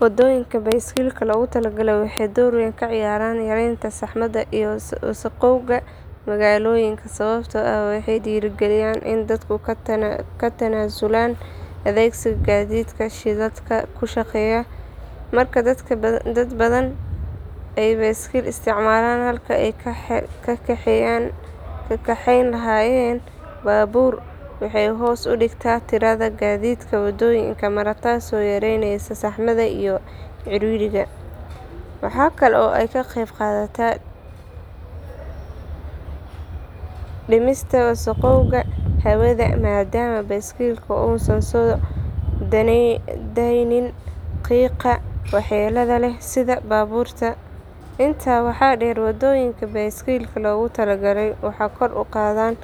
Waddooyinka baaskiilka loogu talagalay waxay door weyn ka ciyaaraan yareynta saxmadda iyo wasakhowga magaalooyinka sababtoo ah waxay dhiirrigeliyaan in dadku ka tanaasulaan adeegsiga gaadiidka shidaalka ku shaqeeya. Marka dad badan ay baaskiil isticmaalaan halkii ay ka kaxeyn lahaayeen baabuur waxay hoos u dhigtaa tirada gaadiidka waddooyinka mara taasoo yareyneysa saxmadda iyo ciriiriga. Waxa kale oo ay ka qeyb qaataan dhimista wasakhowga hawada maadaama baaskiilku uusan soo deynin qiiqa waxyeellada leh sida baabuurta. Intaa waxaa dheer waddooyinka baaskiilka loogu talagalay waxay kor u qaadaan